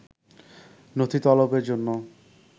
নথি তলবের জন্য